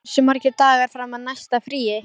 Día, hversu margir dagar fram að næsta fríi?